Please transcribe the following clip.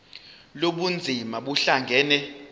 lobu bunzima buhlangane